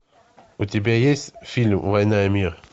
у тебя есть фильм война и мир